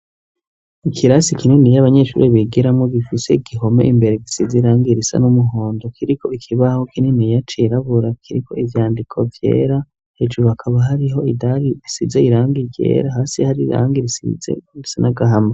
ikirasi kinini abanyeshure bigiramwo gifise gihome imbere gisize irangi risa n'umuhondo kiriko ikibaho kininiya cirabura kiriko ivyandiko vyera hejuru akaba hariho idali risize irangi ryera hasi hari irangi risize risa n'agahama